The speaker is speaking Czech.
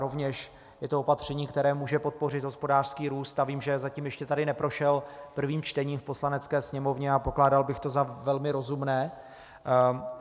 Rovněž je to opatření, které může podpořit hospodářský růst, a vím, že zatím ještě tady neprošel prvým čtením v Poslanecké sněmovně, a pokládal bych to za velmi rozumné.